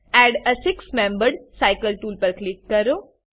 add a six membered cycle tool પર click કરો